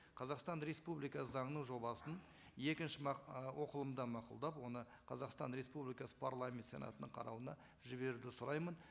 қазақстан республикасы заңының жобасын екінші і оқылымда мақұлдап оны қазақстан республикасы парламент сенатының қарауына жіберуді сұраймын